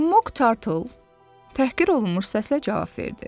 Moq Tartle təhqir olunmuş səslə cavab verdi.